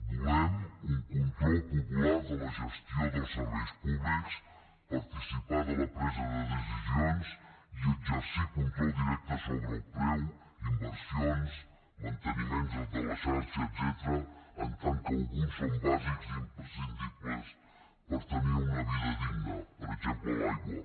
volem un control popular de la gestió dels serveis públics participar de la presa de decisions i exercir control directe sobre el preu inversions manteniments de la xarxa etcètera en tant que alguns són bàsics i imprescindibles per tenir una vida digna per exemple l’aigua